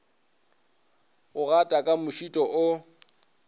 go gata ka mošito o